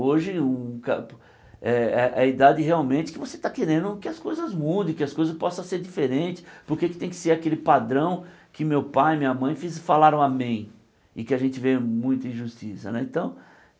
Hoje o ca é é é a idade que você está querendo que as coisas mudem, que as coisas possam ser diferentes, porque tem que ser aquele padrão que meu pai e minha mãe falaram amém e que a gente vê muita injustiça né então.